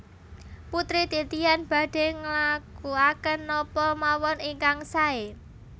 Putri Titian badhe nglakuaken napa mawon ingkang sae